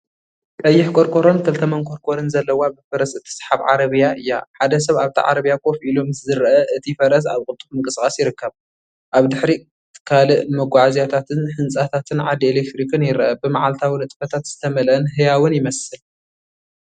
ቀይሕ ቆርቆሮን ክልተ መንኰርኰርን ዘለዋ ብፈረስ እትስሓብ ዓረብያ እያ። ሓደ ሰብ ኣብታ ዓረብያ ኮፍ ኢሉ ምስ ዝረአ፡ እቲ ፈረስ ኣብ ቅልጡፍ ምንቅስቓስ ይርከብ። ኣብ ድሕሪት ካልእ መጓዓዝያታትን ህንጻታትን ዓንዲ ኤለክትሪክን ይርአ። ብመዓልታዊ ንጥፈታት ዝተመልአን ህያውን ይመስል።